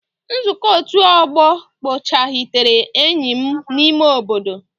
Nzukọ ọtu ogbo kpọghachitere enyi m n'ime obodo.